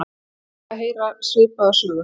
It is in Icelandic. Hann fékk að heyra svipaða sögu